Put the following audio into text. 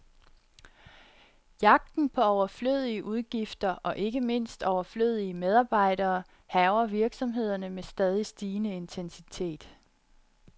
Jagten på overflødige udgifter, og ikke mindst overflødige medarbejdere, hærger virksomhederne med stadig stigende intensitet.